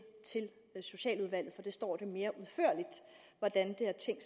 til socialudvalget står det mere udførligt hvordan